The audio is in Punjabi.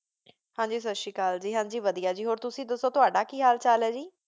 ਹਾਂਜੀ ਸਤ ਸ੍ਰੀ ਅਕਾਲ ਜੀ, ਹਾਂਜੀ ਵਾਦਿਯਾ ਜੀ ਹੋਰ ਤੁਸੀਂ ਦਸੋ ਤੋਆਡਾ ਕੀ ਹਾਲ ਚਲ ਹੈ ਜੀ।